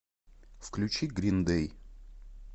включи грин дэй